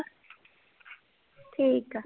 ਠੀਕ ਆ